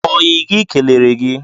Oyi gị kelere gi